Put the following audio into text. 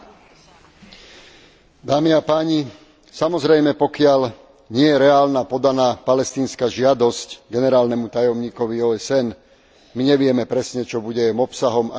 Dámy a páni, samozrejme, pokiaľ nie je reálna podaná palestínska žiadosť generálnemu tajomníkovi OSN, my nevieme presne, čo bude jej obsahom a kam bude smerovať.